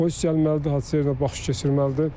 Polis gəlməlidir, hadisə yerinə baxış keçirməlidir.